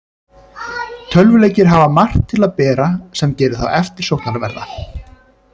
Tölvuleikir hafa margt til að bera sem gerir þá eftirsóknarverða.